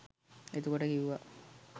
එතකොට කිව්වා